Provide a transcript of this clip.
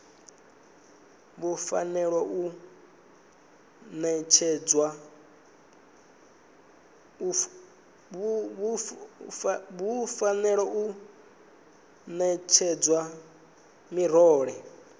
vhu fanela u ṋetshedzwa miraḓo